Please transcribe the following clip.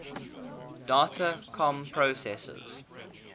data comm processors